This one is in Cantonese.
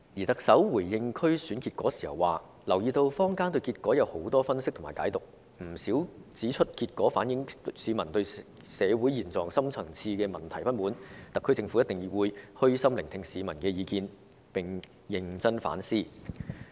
特首回應區選結果時表示，她留意到坊間有很多分析和解讀，不少人指出區選結果反映市民對社會現狀和深層次問題的不滿，特區政府一定會虛心聆聽市民的意見，並會認真反思。